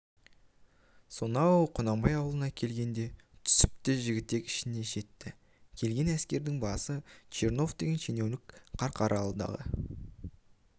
солар құнанбай аулына келгенде түсіп те жігітек ішіне жетті келген әскердің басы чернов деген шенеунік қарқаралыдағы